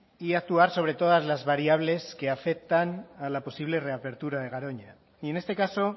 y actuar sobre todas las variables que afectan a la posible reapertura de garoña y en este caso